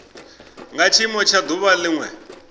nga tshiimo tsha duvha linwe